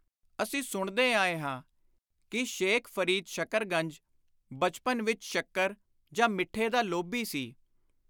ਅਸੀਂ ਸੁਣਦੇ ਆਏ ਹਾਂ ਕਿ ਸ਼ੇਖ਼ ਫ਼ਰੀਦ ਸ਼ਕਰਗੰਜ ਬਚਪਨ ਵਿਚ ਸ਼ੱਕਰ ਜਾਂ ਮਿੱਠੇ ਦਾ ਲੋਭੀ ਸੀ।